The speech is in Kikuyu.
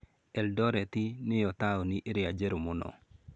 Eldoret nĩyo taũni ĩrĩa njerũ mũno.